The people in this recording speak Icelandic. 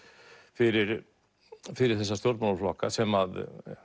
fyrir fyrir þessa stjórnmálaflokka sem